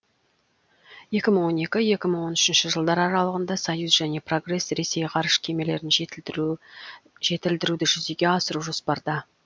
екі мың он екі екі мың он үшінші жылдар аралығында союз және прогресс ресей ғарыш кемелерін жетілдіруді жүзеге асыру жоспарда